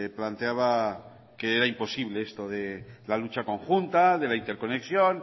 planteaba que era imposible esto de la lucha conjunta de la interconexión